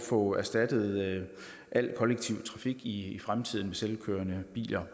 få erstattet al kollektiv trafik i fremtiden med selvkørende biler